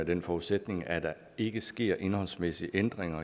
den forudsætning at der ikke sker indholdsmæssige ændringer